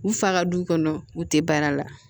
U fa ka du kɔnɔ u tɛ baara la